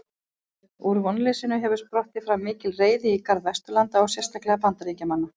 Úr vonleysinu hefur sprottið fram mikil reiði í garð Vesturlanda og sérstaklega Bandaríkjamanna.